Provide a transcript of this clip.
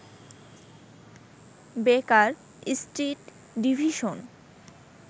বেকার Street division